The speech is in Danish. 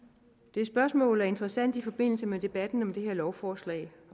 det spørgsmål er interessant i forbindelse med debatten om det her lovforslag